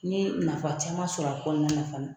N ye nafa caman ma sɔrɔ a kɔnɔna na fana